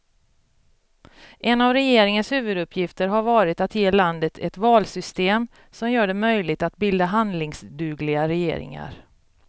En av regeringens huvuduppgifter har varit att ge landet ett valsystem som gör det möjligt att bilda handlingsdugliga regeringar.